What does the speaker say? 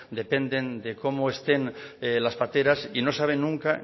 dependen de cómo estén las pateras y no saben nunca